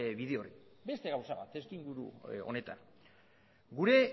bide hori beste gauza bat testuinguru honetan gure